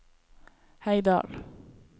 Heidal